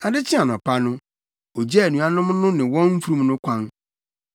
Ade kyee anɔpa no, ogyaa anuanom no ne wɔn mfurum no kwan.